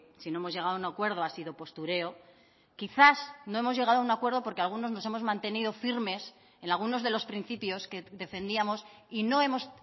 si no hemos llegado a un acuerdo ha sido postureo quizás no hemos llegado a un acuerdo porque algunos nos hemos mantenido firmes en algunos de los principios que defendíamos y no hemos